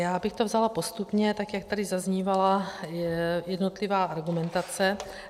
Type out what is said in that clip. Já bych to vzala postupně, tak jak tady zaznívala jednotlivá argumentace.